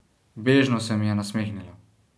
Bežno se mi je nasmehnila.